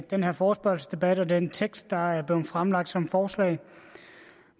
denne forespørgselsdebat og den tekst der er blevet fremlagt som forslag